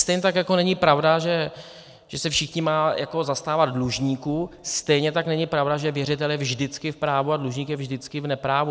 Stejně tak jako není pravda, že se všichni mají zastávat dlužníků, stejně tak není pravda, že věřitel je vždycky v právu a dlužník je vždycky v neprávu.